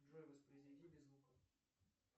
джой воспроизведи без звука